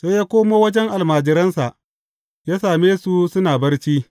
Sai ya koma wajen almajiransa, ya same su suna barci.